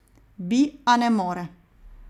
Bi, a ne more.